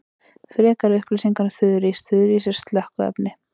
Frekari upplýsingar um þurrís: Þurrís sem slökkviefni.